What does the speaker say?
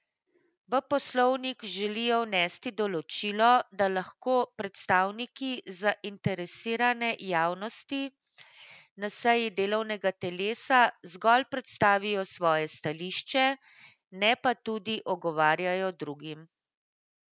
V poslovnik želijo vnesti določilo, da lahko predstavniki zainteresirane javnosti na seji delovnega telesa zgolj predstavijo svoje stališče, ne pa tudi ugovarjajo drugim.